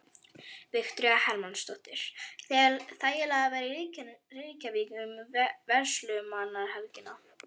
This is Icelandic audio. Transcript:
Viktoría Hermannsdóttir: Þægilegt að vera í Reykjavík um verslunarmannahelgina?